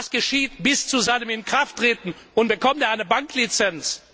Was geschieht bis zu seinem Inkrafttreten, und bekommt er eine Banklizenz?